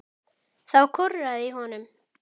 Þá korraði í honum.